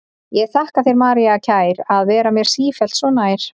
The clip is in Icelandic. Ég þakka þér, María kær, að vera mér sífellt svo nær.